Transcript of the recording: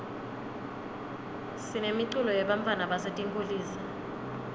sinemiculo yebantfwana basetinkulisa